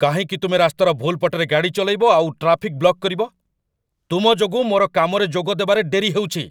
କାହିଁକି ତୁମେ ରାସ୍ତାର ଭୁଲ୍ ପଟରେ ଗାଡ଼ି ଚଲେଇବ ଆଉ ଟ୍ରାଫିକ୍ ବ୍ଲକ୍ କରିବ? ତୁମ ଯୋଗୁଁ ମୋର କାମରେ ଯୋଗ ଦେବାରେ ଡେରି ହେଉଛି।